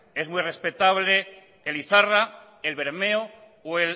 es muy respetable el izarra el bermeo o